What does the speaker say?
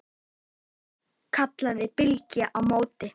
kallaði Bylgja á móti.